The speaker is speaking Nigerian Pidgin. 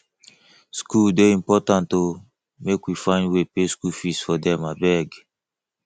skool dey important o make we find way pay skool fees for them abeg